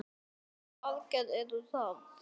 Hvaða aðgerðir eru það?